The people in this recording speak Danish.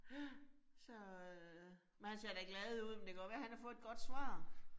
Ja. Så øh, men han ser da glad ud, men det godt være han har fået et godt svar